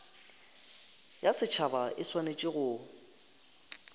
ya setšhaba e swanetše go